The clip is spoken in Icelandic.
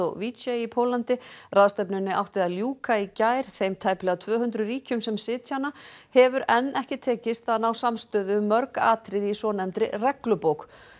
Katowice í Póllandi ráðstefnunni átti að ljúka í gær þeim tæplega tvö hundruð ríkjum sem sitja hana hefur enn ekki tekist að ná samstöðu um mörg atriði í svonefndri reglubók